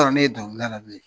ne ye donkilida la bilen